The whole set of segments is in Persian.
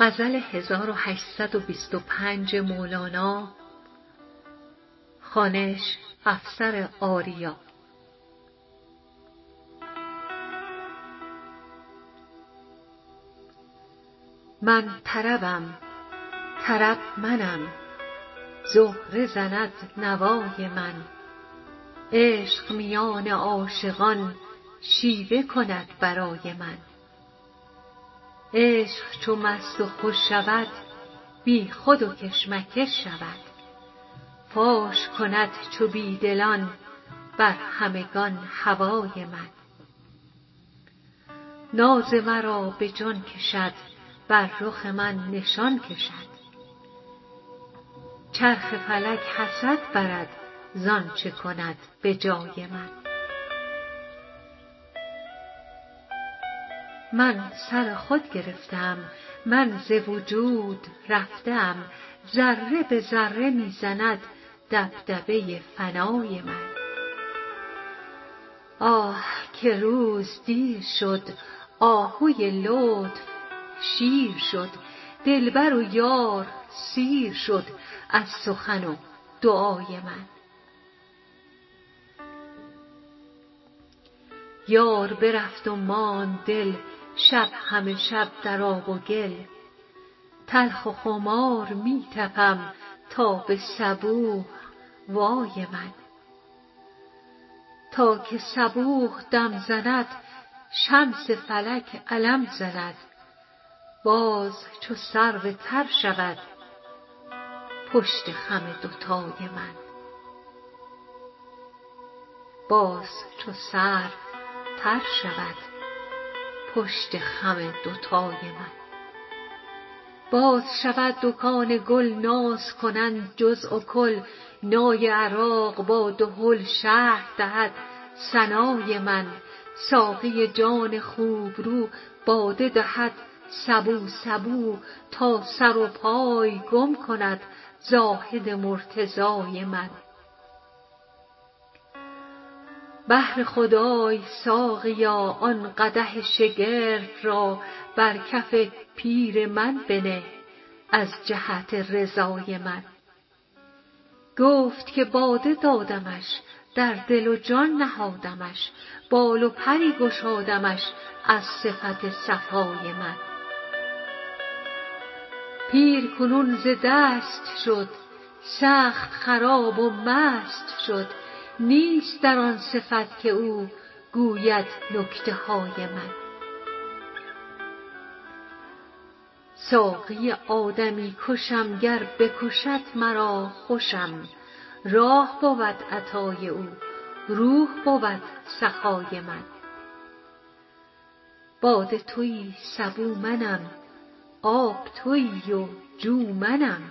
من طربم طرب منم زهره زند نوای من عشق میان عاشقان شیوه کند برای من عشق چو مست و خوش شود بیخود و کش مکش شود فاش کند چو بی دلان بر همگان هوای من ناز مرا به جان کشد بر رخ من نشان کشد چرخ فلک حسد برد ز آنچ کند به جای من من سر خود گرفته ام من ز وجود رفته ام ذره به ذره می زند دبدبه فنای من آه که روز دیر شد آهوی لطف شیر شد دلبر و یار سیر شد از سخن و دعای من یار برفت و ماند دل شب همه شب در آب و گل تلخ و خمار می طپم تا به صبوح وای من تا که صبوح دم زند شمس فلک علم زند باز چو سرو تر شود پشت خم دوتای من باز شود دکان گل ناز کنند جزو و کل نای عراق با دهل شرح دهد ثنای من ساقی جان خوبرو باده دهد سبو سبو تا سر و پای گم کند زاهد مرتضای من بهر خدای ساقیا آن قدح شگرف را بر کف پیر من بنه از جهت رضای من گفت که باده دادمش در دل و جان نهادمش بال و پری گشادمش از صفت صفای من پیر کنون ز دست شد سخت خراب و مست شد نیست در آن صفت که او گوید نکته های من ساقی آدمی کشم گر بکشد مرا خوشم راح بود عطای او روح بود سخای من باده توی سبو منم آب توی و جو منم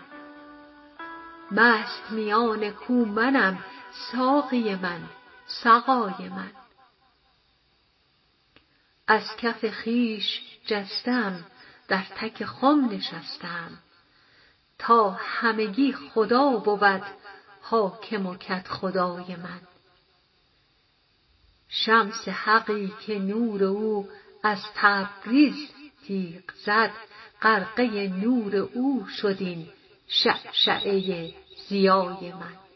مست میان کو منم ساقی من سقای من از کف خویش جسته ام در تک خم نشسته ام تا همگی خدا بود حاکم و کدخدای من شمس حقی که نور او از تبریز تیغ زد غرقه نور او شد این شعشعه ضیای من